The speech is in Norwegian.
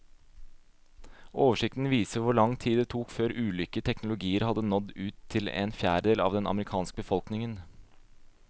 Oversikten viser hvor lang tid det tok før ulike teknologier hadde nådd ut til en fjerdedel av den amerikanske befolkningen.